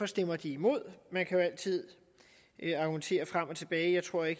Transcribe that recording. stemmer imod man kan jo altid argumentere frem og tilbage jeg tror jeg